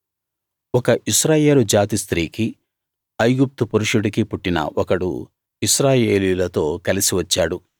ఒక ఇశ్రాయేలు జాతి స్త్రీకి ఐగుప్తు పురుషుడికి పుట్టిన ఒకడు ఇశ్రాయేలీయులతో కలిసి వచ్చాడు